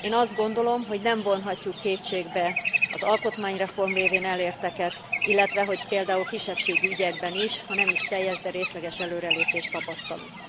Én azt gondolom, hogy nem vonhatjuk kétségbe az alkotmányreform révén elérteket, illetve hogy példádul kisebbségi ügyekben is, ha nem is teljes, de részleges előrelépést tapasztalunk.